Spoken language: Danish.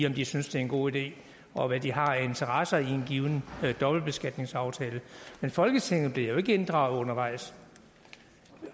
om de synes det er en god idé og hvad de har af interesser i en given dobbeltbeskatningsaftale men folketinget bliver jo ikke inddraget undervejs